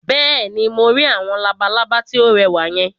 Bẹ́ẹ̀ni, mo rí àwọn labalábá tí ó rẹwà yẹn